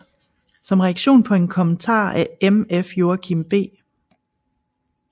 Som reaktion på en kommentar af MF Joachim B